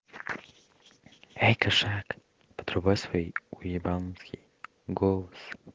эй кошак подрубай свой уебанский голос